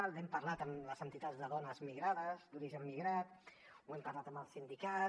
n’hem parlat amb les entitats de dones migrades d’origen migrat ho hem parlat amb els sindicats